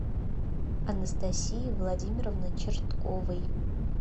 анастасии владимировны чертковой